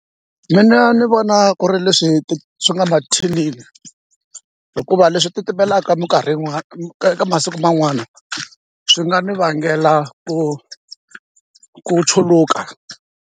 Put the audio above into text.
Mina ni vona ku ri leswi ti swi nga mathinini hikuva leswi titimelaka minkarhi eka masiku man'wana swi nga ni vangela ku ku chuluka.